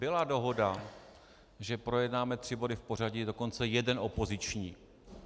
Byla dohoda, že projednáme tři body v pořadí, dokonce jeden opoziční.